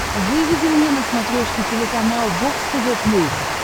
выведи мне на смотрешке телеканал бокс тв плюс